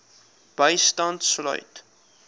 bystand sluit